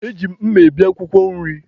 Eji m mma ebi akwụkwọ nri.